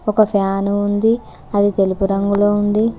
ఒక ఫ్యాను ఉంది అది తెలుపు రంగులో ఉంది.